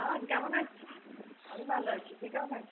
হ্যাঁ, কেমন আছিস? আমি ভালো আছি। তুই কেমন আছিস?